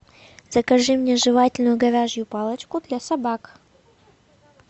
закажи мне жевательную говяжью палочку для собак